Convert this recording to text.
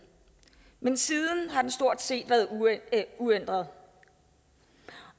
men siden har den stort set været uændret